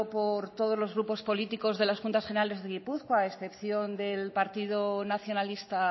por todos los grupos políticos de las juntas generales de gipuzkoa e excepción del partido nacionalista